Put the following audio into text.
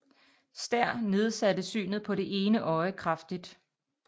Stær nedsatte synet på det ene øje kraftigt